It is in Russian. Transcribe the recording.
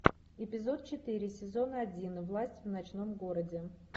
эпизод четыре сезона один власть в ночном городе